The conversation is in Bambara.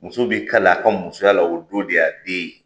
Muso b'i kalen a ka musoya la o don de. A den ye.